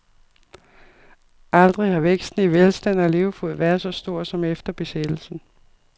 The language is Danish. Aldrig har væksten i velstand og levefod været så stor, som efter besættelsen.